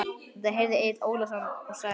Þetta heyrði Egill Ólafsson og sagði